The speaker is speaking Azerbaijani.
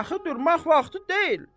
Daha durmaq vaxtı deyil.